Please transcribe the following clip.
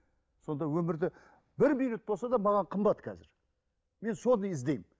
сонда өмірді бір минут болса да маған қымбат қазір мен соны іздеймін